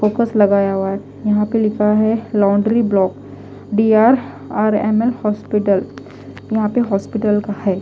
Focus लगाया हुआ है यहां पे लिखा है laundry block D R R M L hospital यहां पे हॉस्पिटल का है।